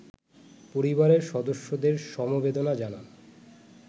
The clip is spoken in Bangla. পরিবারের সদস্যদের সমবেদনা জানান